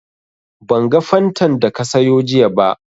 Ban ga Fantan da ka sayo jiya ba